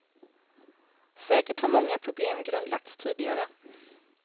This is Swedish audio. Säkert har många problem grundlagts tidigare.